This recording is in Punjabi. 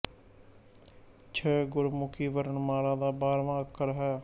ਛ ਗੁਰਮੁਖੀ ਵਰਣ ਮਾਲਾ ਦਾ ਬਾਰਵਾਂ ਅੱਖਰ ਹੈ